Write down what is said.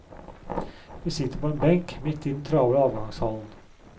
Vi sitter på en benk, midt i den travle avgangshallen.